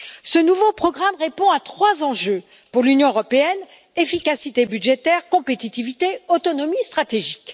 Ce nouveau programme répond à trois enjeux pour l'Union européenne efficacité budgétaire, compétitivité et autonomie stratégique.